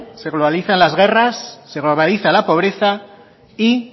se globaliza las guerras se globaliza la pobreza y